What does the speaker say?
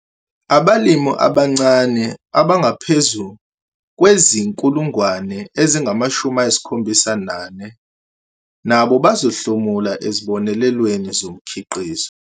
Abalimi abancane abangaphezu kwezi-74 000 nabo bazohlomula ezibonelelweni zomkhiqizo.